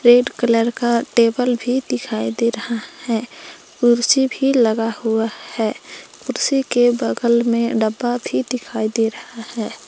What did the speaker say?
Red colour का table भी दिखाई दे रहा है कुर्सी भी लगा हुआ है कुर्सी के बगल में डब्बा भी दिखाई दे रहा है।